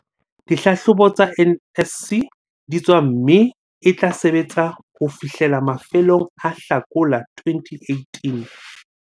dihlahlobo tsa NSC di tswa mme e tla sebetsa ho fihlela mafelong a Hlakola 2018.